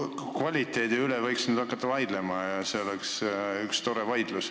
Elukvaliteedi üle võiks hakata vaidlema ja see oleks üks tore vaidlus.